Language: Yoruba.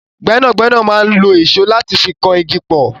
Gbẹ́nàgbénà máa n lo ìṣó láti fi kan igi pọ̀.